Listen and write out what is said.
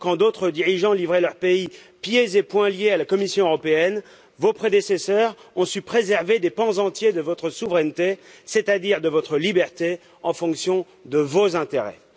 Quand d'autres dirigeants livraient leur pays pieds et poings liés à la Commission européenne, vos prédécesseurs ont su préserver des pans entiers de votre souveraineté, c'est à dire de votre liberté en fonction de vos intérêts.